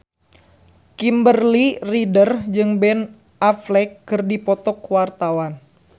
Kimberly Ryder jeung Ben Affleck keur dipoto ku wartawan